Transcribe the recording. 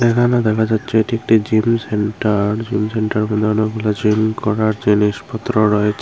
এখানে দেখা যাচ্ছে এটি একটি জিম সেন্টার জিম সেন্টার গুলো অনেকগুলো জিম করার জিনিস পত্র রয়ে --